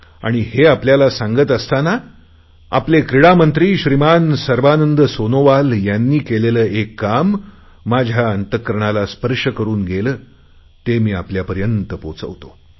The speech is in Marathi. आम्ही हे आपल्याला सांगत असतांना आपले क्रीडा मंत्री श्रीमान सर्बानंद सोनोवाल यांनी केलेले एक काम माझ्या अंतकरणाला स्पर्श करुन गेले ते आपल्यापर्यंत पोहोचवतो